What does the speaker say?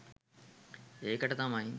ඒකට තමයි